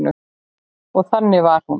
Og þannig var hún.